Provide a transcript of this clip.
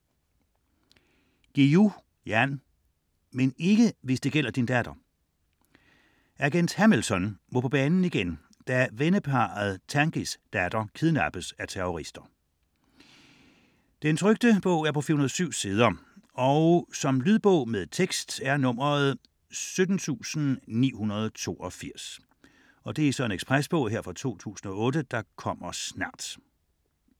Guillou, Jan: Men ikke hvis det gælder din datter Agent Hamilton må på banen igen, da venneparret Tanguys datter kidnappes af terrorister. 2008, 407 sider. Lydbog med tekst 17982 Ekspresbog - kommer snart